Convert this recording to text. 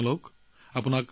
নিজৰ যত্ন লওক